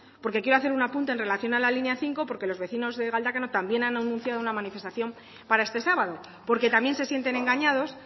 porque quiero hacer un apunte en relación a la línea cinco porque los vecinos de galdacano también han anunciado una manifestación para este sábado porque también se sienten engañados